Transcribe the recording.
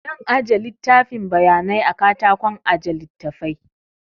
Zan aje littafin bayanai a katakon aje littafai